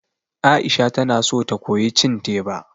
Aisha tana so ta koyi cin teba